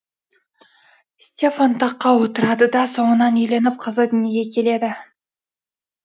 стефан таққа отырады да соңынан үйленіп қызы дүниеге келеді